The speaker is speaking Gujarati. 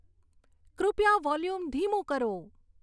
કૃપયા વોલ્યુમ ધીમું કરો